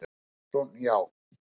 Jóhannes Jónsson: Já.